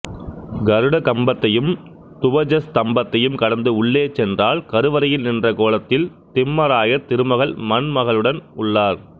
கருட கம்பத்தையும் துவஜஸ்தம்பத்தையும் கடந்து உள்ளே சென்றால் கருவறையில் நின்ற கோலத்தில் திம்மராயர் திருமகள் மண்மகளுடன் உள்ளார்